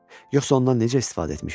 Yoxsa ondan necə istifadə etmişəm?